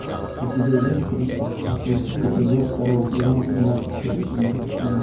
у тебя есть тридцать шестой эпизод второго сезона тринадцать причин почему